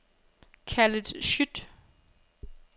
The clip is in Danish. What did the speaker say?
Khaled Schütt